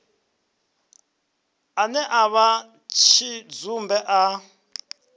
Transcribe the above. ane a vha tshidzumbe a